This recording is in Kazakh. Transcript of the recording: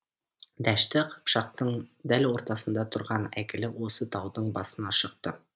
дәшті қыпшақтың дәл ортасында тұрған әйгілі осы таудың басына шықты